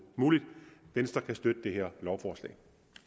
muligt venstre kan støtte det her lovforslag